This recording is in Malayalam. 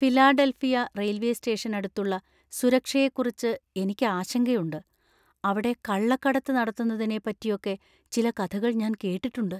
ഫിലാഡൽഫിയ റെയിൽവേ സ്റ്റേഷനടുത്തുള്ള സുരക്ഷയെക്കുറിച്ച് എനിക്ക് ആശങ്കയുണ്ട്; അവിടെ കള്ളക്കടത്ത് നടത്തുന്നതിനെപ്പറ്റിയൊക്കെ ചില കഥകൾ ഞാൻ കേട്ടിട്ടുണ്ട്.